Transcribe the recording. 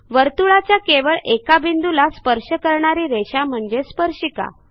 वर्तुळाच्या केवळ एका बिंदूला स्पर्श करणारी रेषा म्हणजे स्पर्शिका